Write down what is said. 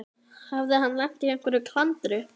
Hafði hann lent í einhverju klandri?